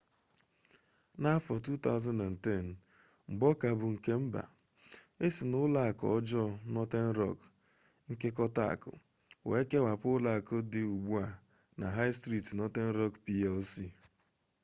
n’afọ 2010 mgbe ọ ka bụ nke mba e si na ụlọ akụ ọjọọ northern rock nkekọta akụ wee kewapụ ụlọ akụ dị ugbu a na high street northern rock plc